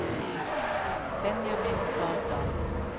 Benjamin Gravdal